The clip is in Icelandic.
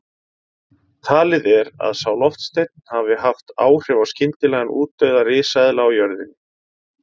Talið er að sá loftsteinn hafi haft áhrif á skyndilegan útdauða risaeðla á jörðinni.